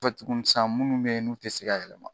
Kɔfɛ tuguni san munnu be yen n'u te se ka yɛlɛma.